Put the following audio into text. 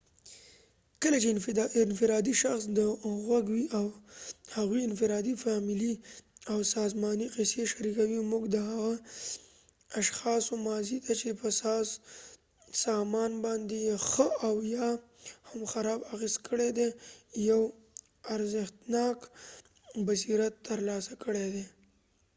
کله چې انفرادي شخص ته غوږ وۍ د هغوي انفرادي ،فامیلی او سازمانی قیصی شریکوي موږ د هغه اشخاصو ماضی ته چې په سازمان باندي یې ښه او یا هم خراب اغیز کړي دي یو ارزښتناک بصیرت تر لاسه کړي دي